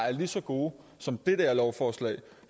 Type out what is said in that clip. er lige så gode som det der lovforslag